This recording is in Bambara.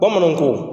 Bamananw ko